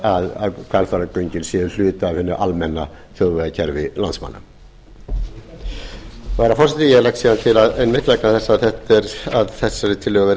að hvalfjarðargöngin séu hluti af hinu almenna þjóðvegakerfi landsmanna herra forseti ég legg síðan til að þessari tillögu verði